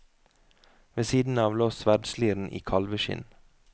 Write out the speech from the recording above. Ved siden av lå sverdsliren i kalveskinn.